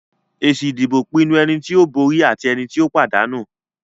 Èsì ìdìbò pinnu ẹni tí ó borí àti ẹni tí ó pàdánù.